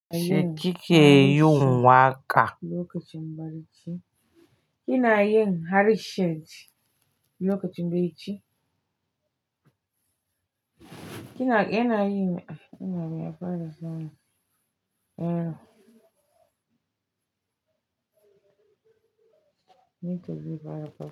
Sheki ke yi wanka. Lokacin barci. Kina yin harishin lokacin barci? Kina, ina yi, ina yi faras nan. Eh. Need to give her a proper.